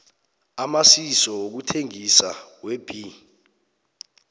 amasiso wokuthengisa webee